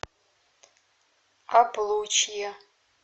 облучье